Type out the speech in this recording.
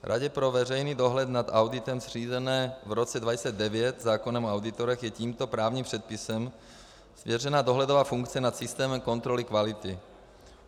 Radě pro veřejný dohled nad auditem, zřízené v roce 2009 zákonem o auditorech, je tímto právním předpisem svěřena dohledová funkce nad systémem kontroly kvality.